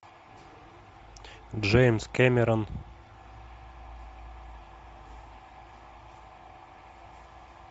джеймс кэмерон